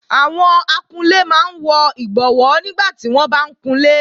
Àwọn akunlé máa ń wọ ìbọwó nígbàtí wọ́n bá ń kunlé